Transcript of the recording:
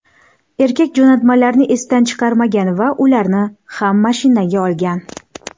Erkak jo‘natmalarni esdan chiqarmagan va ularni ham mashinaga olgan.